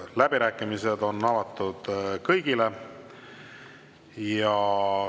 Läbirääkimised on avatud kõigile.